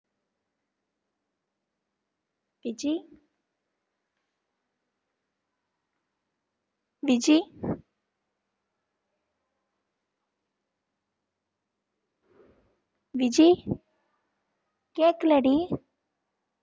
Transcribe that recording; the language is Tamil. விஜி விஜி விஜி கேக்கலடி